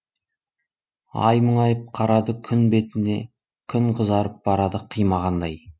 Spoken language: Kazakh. ай мұңайып қарады күн бетіне күн қызарып барады қимағандай